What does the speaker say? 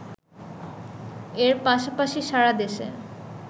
এর পাশাপাশি সারা দেশে